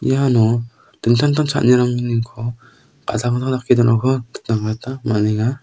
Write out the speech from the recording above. iano dingtang tang cha·anirangniko gadang gadang dake donako nikna gita man·enga.